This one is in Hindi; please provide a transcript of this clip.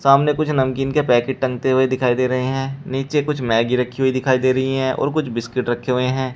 सामने कुछ नमकीन के पैकेट टंगते हुए दिखाई दे रहे हैं नीचे कुछ मैगी रखी हुई दिखाई दे रही है और कुछ बिस्किट रखे हुए हैं।